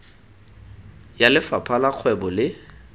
ya lefapha la kgwebo le